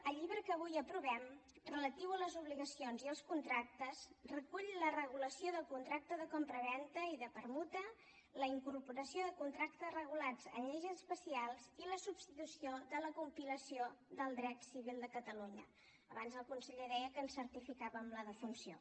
el llibre que avui aprovem relatiu a les obligacions i als contractes recull la regulació del contracte de compravenda i de permuta la incorporació de contractes regulats en lleis especials i la substitució de la compilació del dret civil de catalunya abans el conseller deia que en certificàvem la defunció